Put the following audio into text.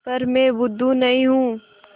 पर मैं बुद्धू नहीं हूँ